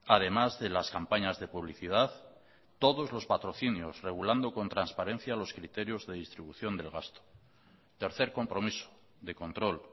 además de las campañas de publicidad todos los patrocinios regulando con transparencia los criterios de distribución del gasto tercer compromiso de control